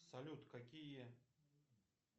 салют какие